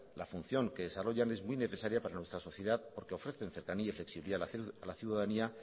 la función que se desarrollan es muy necesaria para nuestra sociedad porque ofrece cercanía y flexibilidad a la ciudadanía